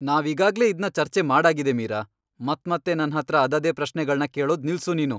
ನಾವೀಗಾಗ್ಲೇ ಇದ್ನ ಚರ್ಚೆ ಮಾಡಾಗಿದೆ, ಮೀರಾ! ಮತ್ಮತ್ತೆ ನನ್ಹತ್ರ ಅದದೇ ಪ್ರಶ್ನೆಗಳ್ನ ಕೇಳೋದ್ ನಿಲ್ಸು ನೀನು.